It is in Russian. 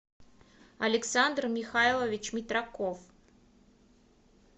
александр михайлович митраков